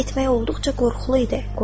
İrəli getmək olduqca qorxulu idi.